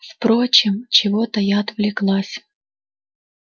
впрочем чего-то я отвлеклась